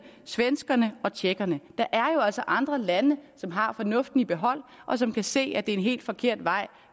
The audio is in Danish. svenskerne og tjekkerne der er jo altså andre lande som har fornuften i behold og som kan se at det er en helt forkert vej